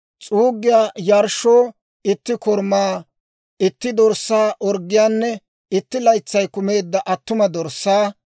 s'uuggiyaa yarshshoo itti korumaa itti dorssaa orggiyaanne, itti laytsay kumeedda attuma dorssaa;